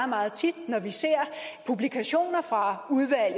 meget tit når vi ser publikationer fra